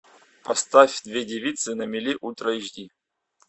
поставь две девицы на мели ультра эйч ди